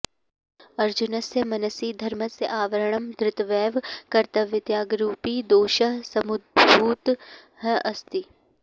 अर्जुनस्य मनसि धर्मस्य आवरणं धृत्वैव कर्तव्यत्यागरूपी दोषः समुद्भूतः अस्ति